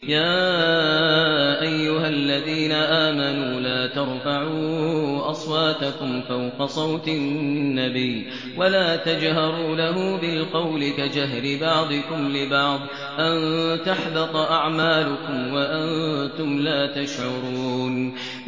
يَا أَيُّهَا الَّذِينَ آمَنُوا لَا تَرْفَعُوا أَصْوَاتَكُمْ فَوْقَ صَوْتِ النَّبِيِّ وَلَا تَجْهَرُوا لَهُ بِالْقَوْلِ كَجَهْرِ بَعْضِكُمْ لِبَعْضٍ أَن تَحْبَطَ أَعْمَالُكُمْ وَأَنتُمْ لَا تَشْعُرُونَ